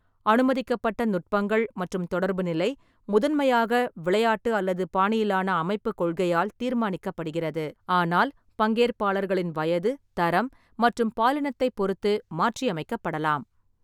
அனுமதிக்கப்பட்ட நுட்பங்கள் மற்றும் தொடர்பு நிலை முதன்மையாக விளையாட்டு அல்லது பாணியிலான அமைப்பு கொள்கையால் தீர்மானிக்கப்படுகிறது, ஆனால் பங்கேற்பாளர்களின் வயது, தரம் மற்றும் பாலினத்தைப் பொறுத்து மாற்றியமைக்கப்படலாம்.